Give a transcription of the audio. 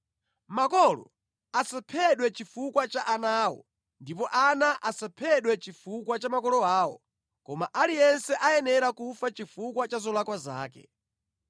Makolo asaphedwe chifukwa cha ana awo, ndipo ana asaphedwe chifukwa cha makolo awo, koma aliyense ayenera kufa chifukwa cha zolakwa zake.